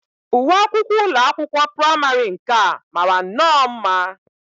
Uwe akwụkwọ ụlọakwụkwọ praịmarị nke a mara nnọọ mma